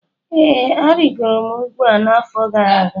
Ee, arịgoro m ugwu a n'afọ gara aga